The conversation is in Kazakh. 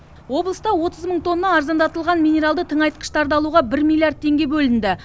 облыста отыз мың тонна арзандатылған минералды тыңайтқыштарды алуға бір миллиард теңге бөлінді